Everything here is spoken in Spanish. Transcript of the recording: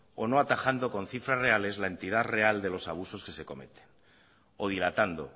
o no atajando con cifras reales la entidad real de los abusos que se cometen o dilatando